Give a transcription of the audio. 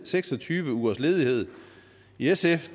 seks og tyve ugers ledighed i sf